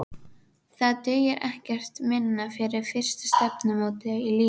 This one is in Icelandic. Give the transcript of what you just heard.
Það dugir ekkert minna fyrir fyrsta stefnumótið í lífinu.